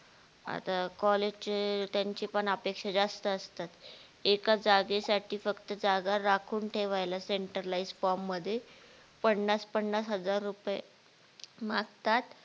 आता college त्यांची पण अपेक्षा जास्त असतात, एका जागेसाठी फक्त जागा राखून ठेवायला center LIFE SPUMP ला मध्ये पन्नास पन्नास हजार रूपये मागतात.